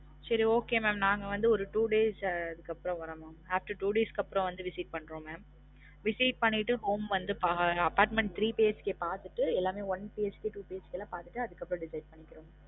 சரி okay mam நாங்க வந்து ஒரு two days அஹ் அதுக்கப்றம் வரோம் mam after two days க்கு அப்றம் வந்து visit பன்றோம் mam visit பண்ணிட்டு வந்து அஹ் apartment three BHK பாத்திட்டு எல்லாமே one BHK two BHK பாத்திட்டு அதுக்கப்றம் decide பண்ணிக்கிறோம்